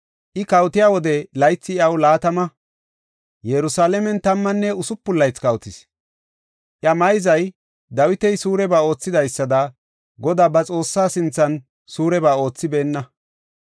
I kawotiya wode laythi iyaw laatama; Yerusalaamen tammanne usupun laythi kawotis. Iya mayzay Dawita suureba oothidaysada, Godaa ba Xoossaa sinthan suureba oothibeenna.